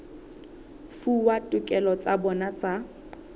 fuwa ditokelo tsa bona tsa